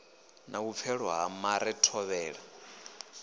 na vhupfelo ha mare thovhela